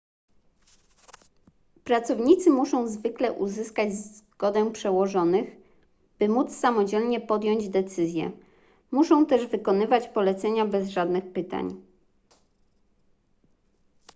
pracownicy muszą zwykle uzyskać zgodę przełożonych by móc samodzielnie podjąć decyzję muszą też wykonywać polecenia bez żadnych pytań